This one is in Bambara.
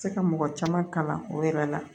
Se ka mɔgɔ caman kalan o yɛrɛ la